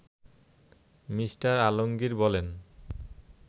Me. Alamgir বলেন